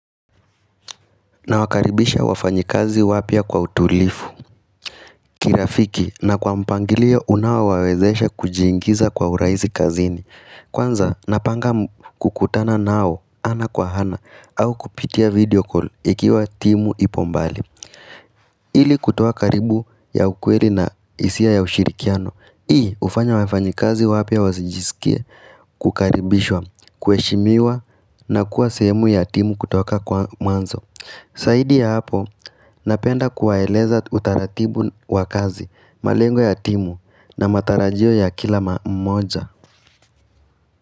Nawakaribisha wafanyikazi wapya kwa utulivu kirafiki na kwa mpangilio unao wawezesha kujiingiza kwa urahisi kazini. Kwanza napanga kukutana nao ana kwa ana au kupitia video call ikiwa timu ipo mbali ili kutoa karibu ya ukweli na hisia ya ushirikiano. Hii hufanya wafanyikazi wapya wasijisikie kkaribishwa, kuheshimiwa na kuwa sehemu ya timu kutoka kwa mwanzo Zaidi ya hapo, napenda kuwaeleza utaratibu wa kazi malengo ya timu na matarajio ya kila mmoja.